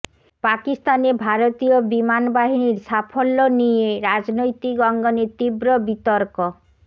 পাকিস্তানে ভারতীয় বিমান বাহিনীর সাফল্য নিয়ে রাজনৈতিক অঙ্গনে তীব্র বিতর্ক